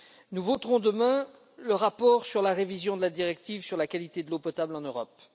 Nous voterons demain le rapport sur la révision de la directive sur la qualité de l'eau potable en Europe.